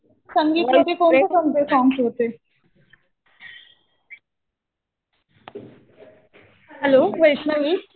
संगीतमध्ये कोणते कोणते सॉंग्स होते? हॅलो वैष्णवी?